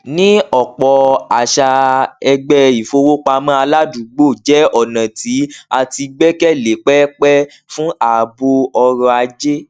ní ọpọ àṣà ẹgbẹ ìfowópamọ aládùúgbò jẹ ọnà tí a ti gbẹkẹlé pẹpẹ fún ààbò ọrọ ajé